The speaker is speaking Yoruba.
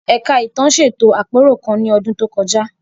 Ẹ̀ka Ìtàn ṣètò àpérò kan ní ọdún tó kọjá.